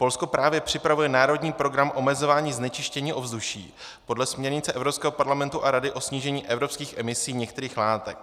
Polsko právě připravuje národní program omezování znečištění ovzduší podle směrnice Evropského parlamentu a Rady o snížení evropských emisí některých látek.